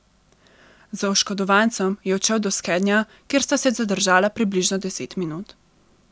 Z oškodovancem je odšel do skednja, kjer sta se zadržala približno deset minut.